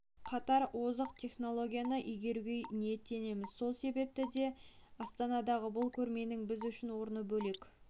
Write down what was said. қатар озық технологияны игеруге ниеттіміз сол себепті де астанадағы бұл көрменің біз үшін орны бөлек